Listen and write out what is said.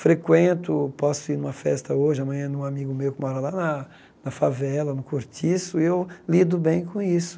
Frequento, posso ir a uma festa hoje, amanhã, num amigo meu que mora lá na favela, no cortiço, e eu lido bem com isso.